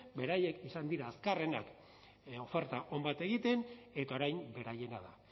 beraiek izan dira azkarrenak oferta on bat egiten eta orain beraiena da